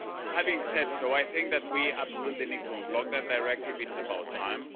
Having said so, I think that we absolutely need to unblock that directive it's about time.